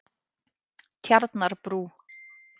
Tjarnarbrú